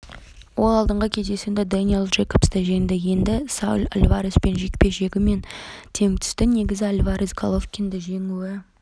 ол алдыңғы кездесуінде дэниэл джейкобсты жеңді енді сауль альвареспен жекпе-жегі тең түсті негізі альварес головкинді жеңуі